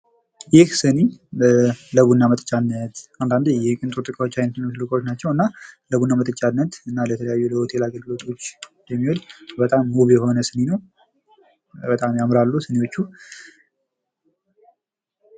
ይህ ሲኒ ለቡና መጠጫነት አንዳንዴ የቅንጦት እቃዎች አይነት የሆኑ እቃዎች ናቸው። እና ለቡና መጠጫነት እና ለተለያዩ ለሆቴል አገልግሎቶች የሚውል በጣም ውብ የሆነ ሲኒ ነው። በጣም ያምራሉ ሲኒዎቹ።